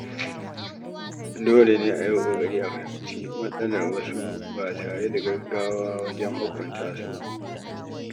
Dole ne a yi ƙoƙari a fahimci matsalar wasu ba tare da gaggawa wajen hukunta su ba.